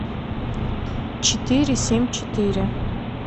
четыре семь четыре